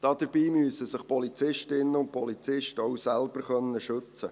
Dabei müssen sich Polizistinnen und Polizisten auch selbst schützen können.